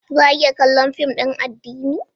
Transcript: Za a iya kallon fim din addini?